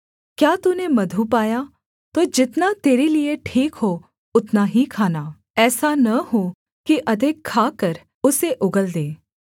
क्या तूने मधु पाया तो जितना तेरे लिये ठीक हो उतना ही खाना ऐसा न हो कि अधिक खाकर उसे उगल दे